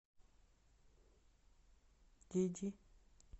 диди